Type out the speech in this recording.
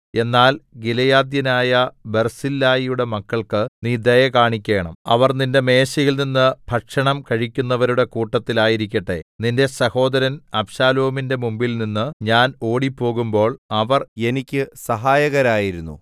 എന്നാൽ ഗിലെയാദ്യനായ ബർസില്ലായിയുടെ മക്കൾക്ക് നീ ദയ കാണിക്കേണം അവർ നിന്റെ മേശയിൽ നിന്ന് ഭക്ഷണം കഴിക്കുന്നവരുടെ കൂട്ടത്തിൽ ആയിരിക്കട്ടെ നിന്റെ സഹോദരൻ അബ്ശാലോമിന്റെ മുമ്പിൽനിന്ന് ഞാൻ ഓടിപ്പോകുമ്പോൾ അവർ എനിക്ക് സഹായകരായിരുന്നു